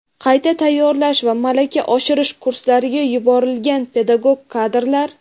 qayta tayyorlash va malaka oshirish kurslariga yuborilgan pedagog kadrlar;.